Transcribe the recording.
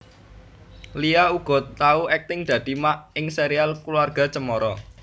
Lia uga tau akting dadi Mak ing Serial Keluarga Cemara